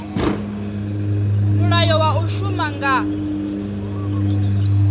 mulayo wa u shuma nga